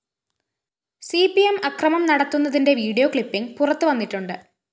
C P M അക്രമം നടത്തുന്നതിന്റെ video clipping പുറത്തുവന്നിട്ടുണ്ട്